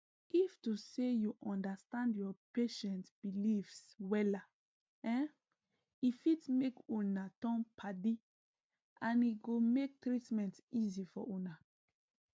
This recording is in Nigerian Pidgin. if to say u understand ur patient beliefs wella um e fit make una turn padiand e go mk treatment easy for una